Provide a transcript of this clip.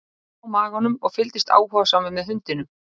Ég lá á maganum og fylgdist áhugasamur með hundinum.